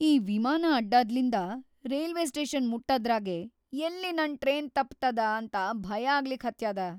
ಈ ವಿಮಾನ ಅಡ್ಡಾದ್ಲಿಂದ ರೇಲ್ವೆ ಸ್ಟೇಷನ್‌ ಮುಟ್ಟದ್ರಾಗೇ ಎಲ್ಲಿ ನನ್‌ ಟ್ರೇನ್‌ ತಪ್ಪತದ ಅಂತ‌ ಭಯಾಗ್ಲಿಕ್ ಹತ್ಯಾದ.